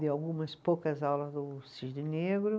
Dei algumas poucas aulas no Cisne Negro.